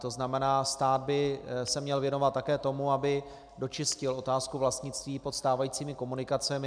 To znamená, stát by se měl věnovat také tomu, aby dočistil otázku vlastnictví pod stávajícími komunikacemi.